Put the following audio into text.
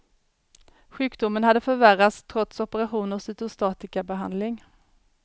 Sjukdomen hade förvärrats trots operation och cytostatikabehandling.